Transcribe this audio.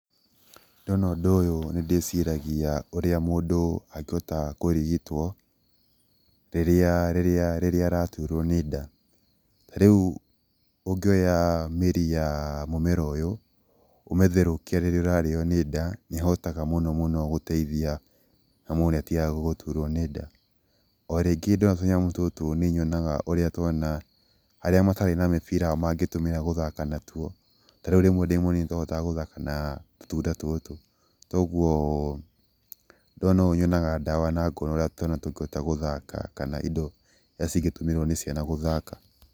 Ndona ũndũ ũyũ nĩ ndĩciragia ũrĩa mũndũ angĩhota kũrigitwo rĩrĩa rĩrĩa rĩrĩa araturwo nĩ nda. Tarĩu ũngĩoya mĩri ya mũmera ũyũ, ũmĩtherũkie rĩrĩa ũrarĩo nĩ nda, nĩhotaga mũno mũno gũteithia na mũndũ nĩ atigaga gũturuo nĩ nda. O rĩngĩ ndona tũnyamũ tũtũ nĩnyonaga ũrĩa twana arĩa matarĩ na mĩbira mangĩtũmĩra gũthaka natuo, tarĩu rĩmwe ndĩ mũnini nĩtwahotaga gũthaka na tũtunda tũtũ, toguo ndona ũũ nyonaga ndawa na ngona ũrĩa twana tũngĩhota gũthaka kana indo iria cingĩtũmĩrwo nĩ ciana gũthaka.